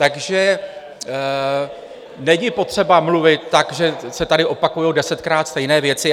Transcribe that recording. Takže není potřeba mluvit tak, že se tady opakují desetkrát stejné věci.